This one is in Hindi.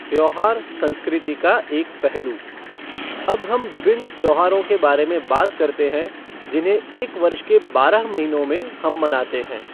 त्योहार संस्कृति का एक पहलू अब हम विभिन्न त्योहारों के बारे में बात करते है जिन्हें एक वर्ष के बारह महीनों में हम मनाते है।